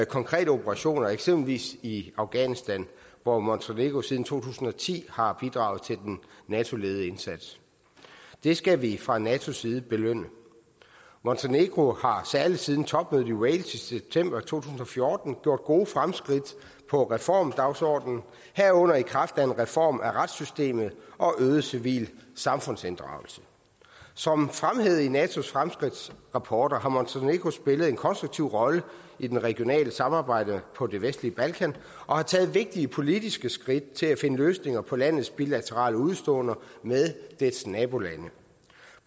konkrete operationer eksempelvis i afghanistan hvor montenegro siden to tusind og ti har bidraget til den nato ledede indsats det skal vi fra natos side belønne montenegro har særlig siden topmødet i wales i september to tusind og fjorten gjort gode fremskridt på reformdagsordenen herunder i kraft af en reform af retssystemet og øget civil samfundsinddragelse som fremhævet i natos fremskridtsrapporter har montenegro spillet en konstruktiv rolle i det regionale samarbejde på det vestlige balkan og har taget vigtige politiske skridt til at finde løsninger på landets bilaterale udeståender med dets nabolande